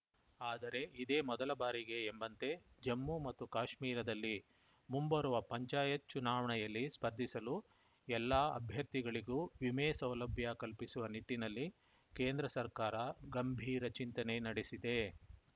ಆದರೆ ಇದೇ ಮೊದಲ ಬಾರಿಗೆ ಎಂಬಂತೆ ಜಮ್ಮು ಮತ್ತು ಕಾಶ್ಮೀರದಲ್ಲಿ ಮುಂಬರುವ ಪಂಚಾಯತ್‌ ಚುನಾವಣೆಯಲ್ಲಿ ಸ್ಪರ್ಧಿಸಲು ಎಲ್ಲಾ ಅಭ್ಯರ್ಥಿಗಳಿಗೂ ವಿಮೆ ಸೌಲಭ್ಯ ಕಲ್ಪಿಸುವ ನಿಟ್ಟಿನಲ್ಲಿ ಕೇಂದ್ರ ಸರ್ಕಾರ ಗಂಭೀರ ಚಿಂತನೆ ನಡೆಸಿದೆ